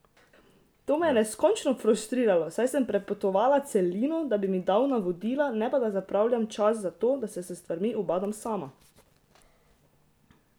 To me je neskončno frustriralo, saj sem prepotovala celino, da bi mi dal navodila, ne pa da zapravljam čas za to, da se s stvarmi ubadam sama!